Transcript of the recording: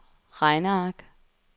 regneark